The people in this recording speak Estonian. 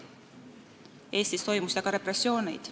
Eestis toimusid aga repressioonid.